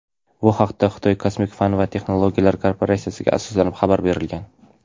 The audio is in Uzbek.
Bu haqda Xitoy kosmik fan va texnologiyalar korporatsiyasiga asoslanib xabar berilgan.